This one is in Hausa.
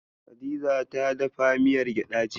Hadiza ta dafa miyar gyaɗa, jiya.